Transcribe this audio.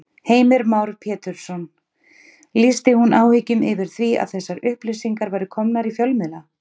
Heimir Már Pétursson: Lýsti hún áhyggjum yfir því að þessar upplýsingar væru komnar í fjölmiðla?